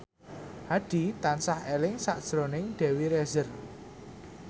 Hadi tansah eling sakjroning Dewi Rezer